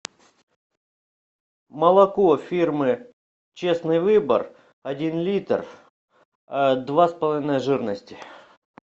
молоко фирмы честный выбор один литр два с половиной жирности